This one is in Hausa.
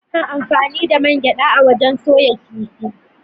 Ana anfani da man gyaɗa wajen soya kifi.